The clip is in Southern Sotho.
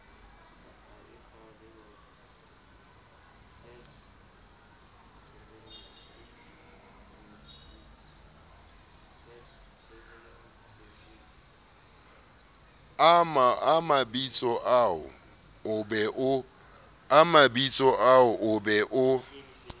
a mabitsoao o be o